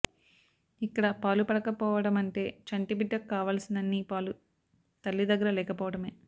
ఇక్కడ పాలుపడక పోవడమంటే చంటిబిడ్డకు కావాల్సినన్ని పాలు తల్లి దగ్గర లేకపోవడమే